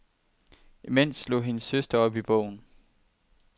Imens slog hendes søster op i bogen.